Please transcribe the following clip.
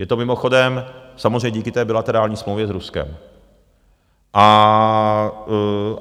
Je to mimochodem samozřejmě díky té bilaterální smlouvě s Ruskem.